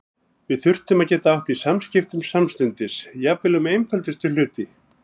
Við þurftum að geta átt í samskiptum samstundis, jafnvel um einföldustu hluti.